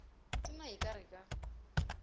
tona e ka re ka